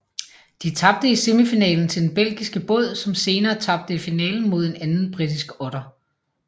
De tabte i semifinalen til den belgiske båd som senere tabte i finalen mod en anden britisk otter